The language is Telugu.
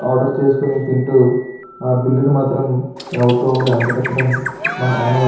ఆర్డర్ చేసుకొని తింటూ ఆ బిల్లుని మాత్రం ఎవరికో ఒకరికి అంటగట్టడం మన ఆనవాయితి.